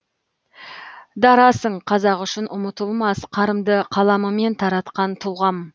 дарасың қазақ үшін ұмытылмас қарымды қаламымен таратқан тұлғам